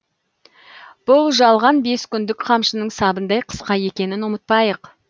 бұл жалған бес күндік қамшының сабындай қысқа екенін ұмытпайық